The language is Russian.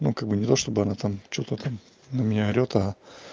ну как бы не то чтобы она там что-то там на меня орёт а